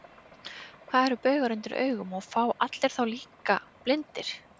Hvað eru baugar undir augum, og fá allir þá, líka blindir?